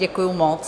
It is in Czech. Děkuji moc.